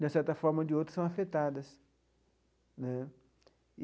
de certa forma ou de outra, são afetadas né.